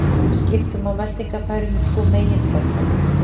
Skipta má meltingarfærunum í tvo megin flokka.